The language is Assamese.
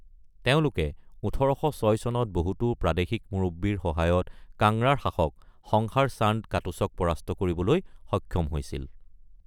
তেওঁলোকে ১৮০৬ চনত বহুতো প্ৰাদেশিক মুৰব্বীৰ সহায়ত কাংৰাৰ শাসক সংসাৰ চান্দ কাটোচক পৰাস্ত কৰিবলৈ সক্ষম হৈছিল।